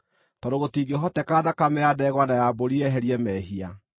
tondũ gũtingĩhoteka thakame ya ndegwa na ya mbũri yeherie mehia.